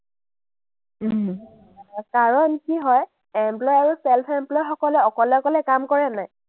কাৰণ কি হয়, employee আৰু self employee সকলে অকলে অকলে কাম কৰে নে নাই?